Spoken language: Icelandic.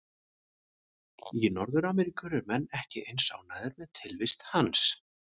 Í Norður-Ameríku eru menn ekki eins ánægðir með tilvist hans.